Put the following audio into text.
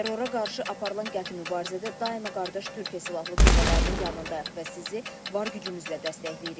Terrora qarşı aparılan qəti mübarizədə daima qardaş Türkiyə Silahlı Qüvvələrinin yanındayıq və sizi var gücümüzlə dəstəkləyirik.